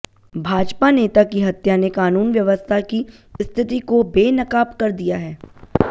भाजपा नेता की हत्या ने कानून व्यवस्था की स्थिति को बेनकाब कर दिया है